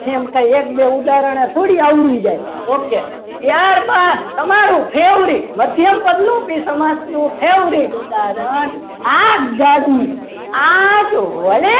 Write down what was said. એમ કહી એક બે ઉદાહરણને થોડું આવડી જાય ઓકે ત્યારબાદ તમારું મધ્યમ પદ લોપી સમાસ favourite ઉદાહરણ આગગાડી આગ વડે